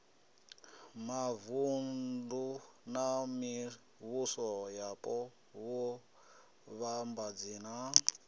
mavunḓu na mivhusoyapo vhuvhambadzi na